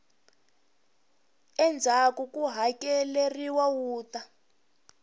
endzhaku ko hakeleriwa wu ta